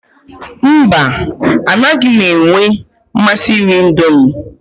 Mba, anaghị m enwe mmasị iri Indomi.